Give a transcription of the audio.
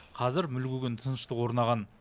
қазір мүлгіген тыныштық орнаған